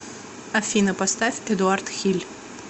афина поставь эдуард хиль